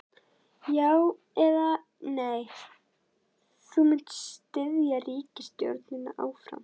Já, eða nei, munt þú styðja ríkisstjórnina áfram?